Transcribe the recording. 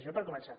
això per començar